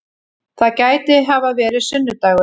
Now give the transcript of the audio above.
Það gæti hafa verið sunnu-dagur.